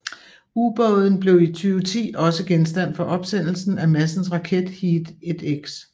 Ubåden blev i 2010 også genstand for opsendelsen af Madsens raket Heat1X